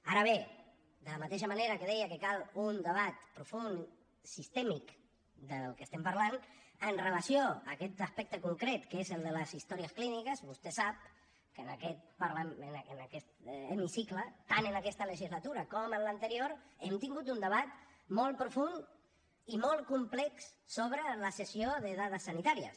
ara bé de la mateixa manera que deia que cal un debat profund sistèmic del que estem parlant amb relació a aquest aspecte concret que és el de les històries clíniques vostè sap que en aquest hemicicle tant en aquesta legislatura com en l’anterior hem tingut un debat molt profund i molt complex sobre la cessió de dades sanitàries